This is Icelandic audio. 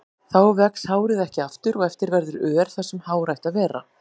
Þá vex hárið ekki aftur og eftir verður ör þar sem hár ætti að vera.